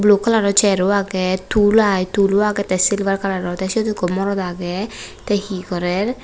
blu kalaror cheir o age tul i tul o age te silver kalaror te sot ekko morot age te hi gorer.